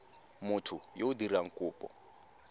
motho yo o dirang kopo